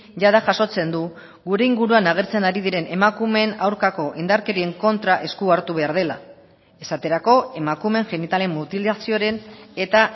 jada jasotzen du gure inguruan agertzen ari diren emakumeen aurkako indarkerien kontra esku hartu behar dela esaterako emakumeen genitalen mutilazioaren eta